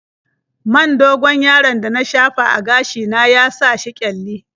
Man dogon-yaron da na shafa a gashi na ya sa shi ƙyalli.